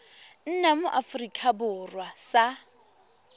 nna mo aforika borwa sa